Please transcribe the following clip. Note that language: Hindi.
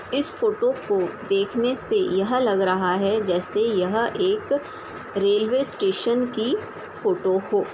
इस फोटो को देखने से यह लग रहा है जैसे यह एक रेलवे स्टेशन की फोटो हो ।